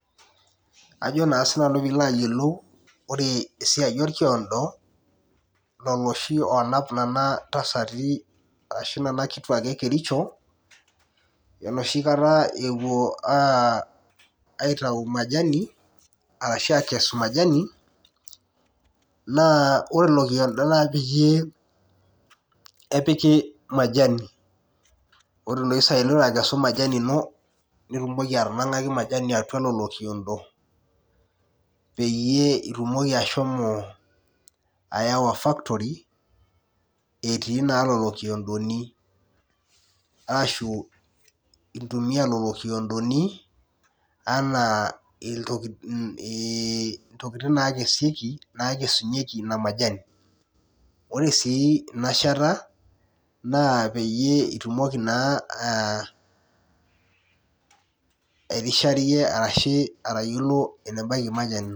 Ajo na sinanu pilo ayiiolou ore esiai orkiondo oshi onap ntasati enoshi kata epuo aitau majani ashu akes majani na ore ilo kiondo na kepiki majanai nitumoki atanangaki majani atua ilo kiondo peyie itumoki ashomo ayawa factory etii lolo kiondoni lolo kiondoni anaa ntokitin nakesunyeki inamajani ore inashata na pitumoki airishayie ashu enebaki majani